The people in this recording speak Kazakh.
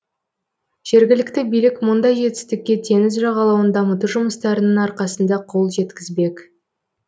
жергілікті билік мұндай жетістікке теңіз жағалауын дамыту жұмыстарының арқасында қол жеткізбек